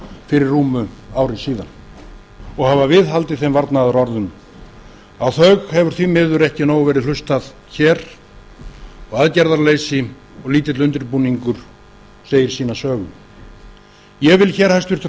fyrir rúmu ári síðan og hafa viðhaldið þeim varnaðarorðum á þau hefur því miður ekki verið nóg verið hlustað hér og aðgerðarleysi og lítill undirbúningur segir sína sögu ég vil hér hæstvirtur